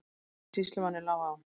En sýslumanni lá á.